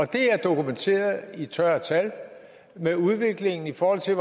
det er dokumenteret i tørre tal med udviklingen i forhold til